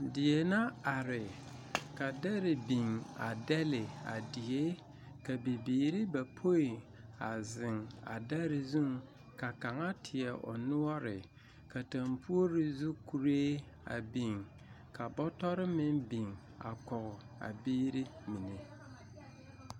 Die na are ka dɛre biŋ a dɛlle a die, ka bibiiri bapoe a zeŋ a dɛre zuŋ ka kaŋa teɛ o noɔre, ka tampuori zu kuree a biŋ, ka bɔtɔre mine meŋ biŋ a kɔge a biiri mine.